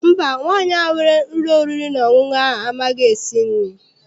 Mba, nwaanyị ahụ nwere ụlọ oriri na ọṅụṅụ ahụ amaghị esi nri.